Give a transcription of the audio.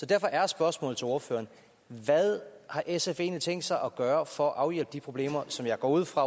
derfor er spørgsmålet til ordføreren hvad har sf egentlig tænkt sig at gøre for at afhjælpe de problemer som jeg går ud fra